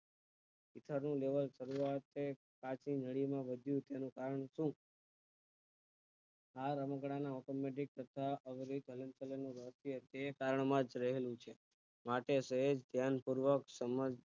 ભીતર્યું level ફરીવાર તે કાંચ નું વધુ માં વધુ તેનું કામ છે આ રમકડાં નો સબંધિત પ્રકાર છે તે કાન માં જ રહેલું છે માટે સૌ ધ્યાનપૂર્વક સમજ